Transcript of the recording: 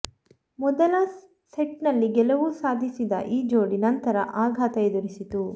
ಮೊದಲ ಸೆಟ್ನಲ್ಲಿ ಗೆಲುವು ಸಾಧಿಸಿದ ಈ ಜೋಡಿ ನಂತರ ಆಘಾತ ಎದುರಿಸಿತು